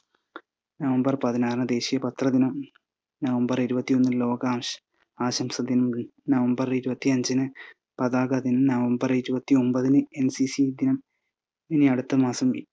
November പതിനാറിന് ദേശിയ പത്ര ദിനം നവംബർ ഇരുപത്തിയൊന്നിന് ലോകാശ് ~ ആശംസദിനം, നവംബർ ഇരുപത്തിയഞ്ചിന് പതാക ദിനം, നവംബർ ഇരുപത്തിയൊമ്പതിന് NCC ദിനം ഇനി അടുത്ത മാസം